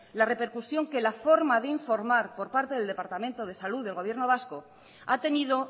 la repercusión que la forma de informar por parte del departamento de salud del gobierno vasco ha tenido